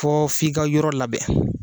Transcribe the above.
Fɔ f'i ka yɔrɔ labɛn